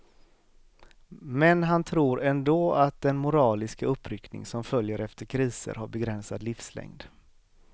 Men han tror ändå att den moraliska uppryckning som följer efter kriser har begränsad livslängd.